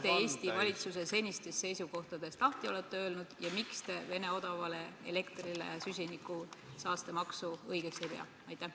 Miks te Eesti valitsuse senistest seisukohtadest lahti olete öelnud ja Vene odavale elektrile süsinikusaaste maksu kehtestamist õigeks ei pea?